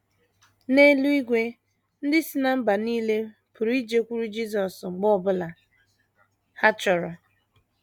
N’eluigwe, ndị si ná mba nile pụrụ ijekwuru Jisọs mgbe ọ bụla ha chọrọ.